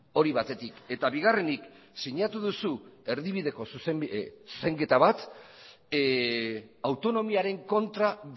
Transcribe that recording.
hori batetik eta bigarrenik sinatu duzu erdibideko zuzenketa bat autonomiaren kontra